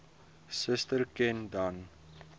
suster ken dan